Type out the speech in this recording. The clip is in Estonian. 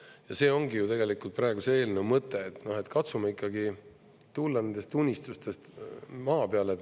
Ja see ongi ju tegelikult praeguse eelnõu mõte, et katsume ikkagi tulla nendest unistustest maa peale.